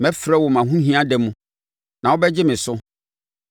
Mɛfrɛ wo mʼahohia da mu, na wobɛgye me so.